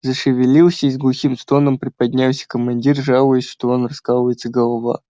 зашевелился и с глухим стоном приподнялся командир жалуясь что он раскалывается голова